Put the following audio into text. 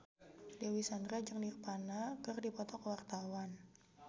Dewi Sandra jeung Nirvana keur dipoto ku wartawan